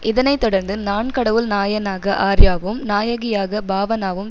இதனை தொடர்ந்து நான் கடவுள் நாயனாக ஆர்யாவும் நாயகியாக பாவனாவும்